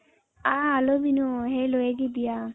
ಹ hello ವಿನು ಹೇಳು ಹೇಗಿದ್ದೀಯ .